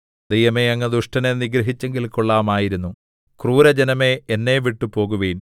ദൈവമേ അങ്ങ് ദുഷ്ടനെ നിഗ്രഹിച്ചെങ്കിൽ കൊള്ളാമായിരുന്നു ക്രൂരജനമേ എന്നെവിട്ടു പോകുവിൻ